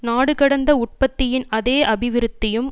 நாடு கடந்த உற்பத்தியின் அதே அபிவிருத்தியும்